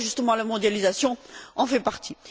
Le Fonds d'ajustement à la mondialisation en fait partie.